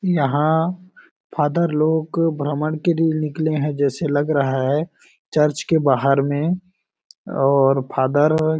यहाँ फादर लोग भ्रंमड के लिए निकले हैं जैसे लग रहा हैं चर्च के बहार में और फादर है।